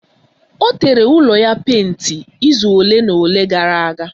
Ọ tere ụlọ ya penti izu ole na ole gara aga.